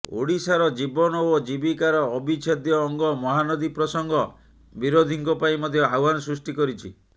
ଓଡ଼ିଶାର ଜୀବନ ଓ ଜୀବିକାର ଅବିଚ୍ଛେଦ୍ୟ ଅଙ୍ଗ ମହାନଦୀ ପ୍ରସଙ୍ଗ ବିରୋଧୀଙ୍କ ପାଇଁ ମଧ୍ୟ ଆହ୍ୱାନ ସୃଷ୍ଟି କରିଛି